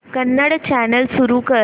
Kannada channel सुरू कर